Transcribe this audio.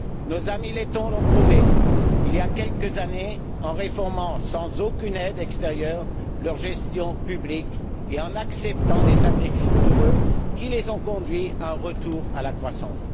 Nos amis lettons l'ont prouvé, il y a quelques années, en réformant sans aucune aide extérieure leur gestion publique et en acceptant des sacrifices douloureux qui les ont conduits à un retour à la croissance.